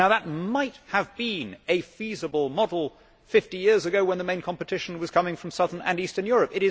Now that might have been a feasible model 50 years ago when the main competition was coming from southern and eastern Europe.